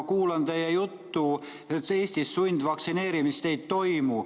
Ma kuulan teie juttu, et Eestis sundvaktsineerimist ei toimu.